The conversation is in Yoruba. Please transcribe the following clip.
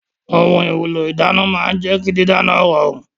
Ohun èlò ìdáná máa ń jẹ́ kí dídáná rọrùn